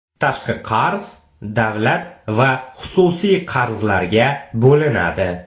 Tashqi qarz davlat va xususiy qarzlarga bo‘linadi.